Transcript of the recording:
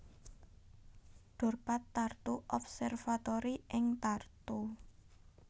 Dorpat Tartu Observatory ing Tartu